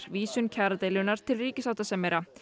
vísun kjaradeilunnar til ríkissáttasemjara